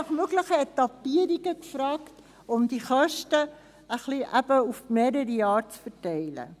Wir haben aber auch nach möglichen Etappierungen gefragt, um die Kosten möglichst auf mehrere Jahre zu verteilen.